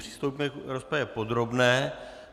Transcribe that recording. Přistoupíme k rozpravě podrobné.